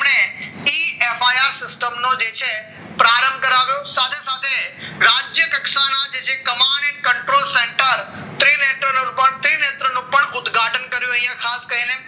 system નો જે છે પ્રારંભ કરાવ્યો સાથે સાથે રાજ્ય કક્ષાના જે છે command and control ઉદ્ઘાટન કર્યું અહીંયા